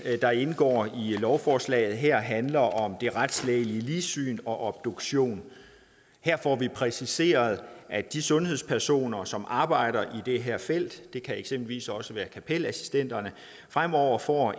der indgår i lovforslaget her handler om det retslægelige ligsyn og obduktion her får vi præciseret at de sundhedspersoner som arbejder i det her felt det kan eksempelvis også være kapelassistenterne fremover får